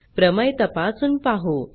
प्रमेय तपासून पाहू